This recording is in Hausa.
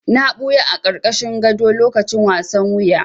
Na ɓuya a ƙarƙashin gado lokacin wasan wuya.